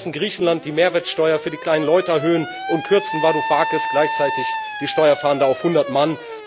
Sie lassen Griechenland die Mehrwertsteuer für die kleinen Leute erhöhen und kürzen Varoufakis gleichzeitig die Steuerfahnder auf hundert Mann.